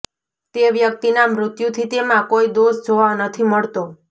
તે વ્યક્તિના મૃત્યુથી તેમાં કોઈ દોષ જોવા નથી મળતો